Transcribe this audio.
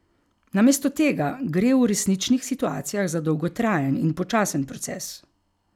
Namesto tega gre v resničnih situacijah za dolgotrajen in počasen proces.